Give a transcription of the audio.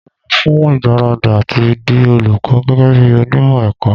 Mo lọ fún ìgbáradì àti di olùkọ́ gẹ́gẹ́ bí onímọ̀ ẹ̀kọ́.